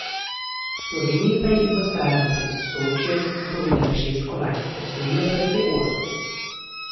Sloveniji pa je Infostrada pred Sočijem napovedala šest kolajn, osvojila pa jih je osem.